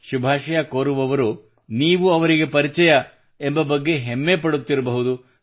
ಶುಭಾಷಯ ಕೋರುವವರು ನೀವು ಅವರಿಗೆ ಪರಿಚಯ ಎಂಬ ಬಗ್ಗೆ ಹೆಮ್ಮೆ ಪಡುತ್ತಿರಬಹುದು